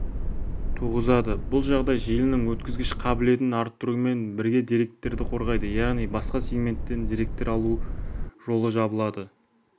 туғызады бұл жағдай желінің өткізгіш қабілетін арттырумен бірге деректерді қорғайды яғни басқа сегменттен деректер алу жолы жабылады